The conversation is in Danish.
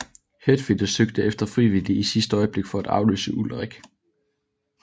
Hetfield søgte efter frivillige i sidste øjeblik for at afløse Ulrich